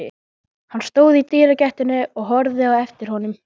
Hann stóð í dyragættinni og horfði á eftir honum.